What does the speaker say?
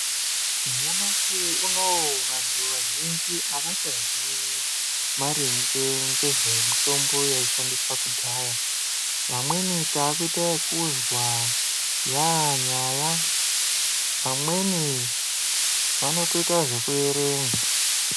Nyamashi unowu vantu vazhinji avachaziyi maringe ngezvemitombo yaishandiswe kudhaya vamweni takuita ekuzwa yanyaya vamweni vanotoita zvekuerenga